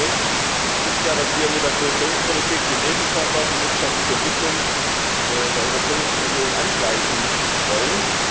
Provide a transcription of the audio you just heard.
Ich meine, der Grund ist ja, dass wir mit der Kohäsionspolitik den Lebensstandard und die wirtschaftliche Entwicklung in der Europäischen Union angleichen wollen.